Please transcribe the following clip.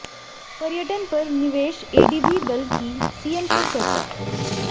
पर्यटन पर निवेश एडीबी दल की सीएम से चर्चा